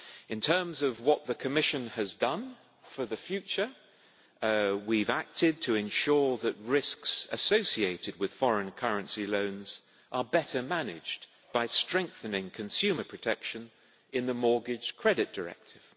In terms of what the Commission has done for the future, we have acted to ensure that risks associated with foreign currency loans are better managed by strengthening consumer protection in the Mortgage Credit Directive.